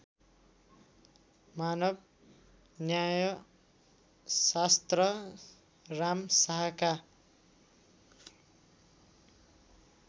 मानव न्यायशास्त्र रामशाहका